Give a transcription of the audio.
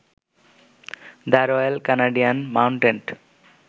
the Royal Canadian mounted